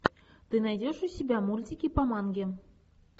ты найдешь у себя мультики по манге